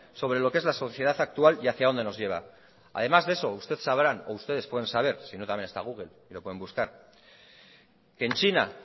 sobre lo qué es la sociedad actual y hacía donde nos lleva además de eso ustedes sabrán o ustedes pueden saber sino también está google y lo pueden buscar que en china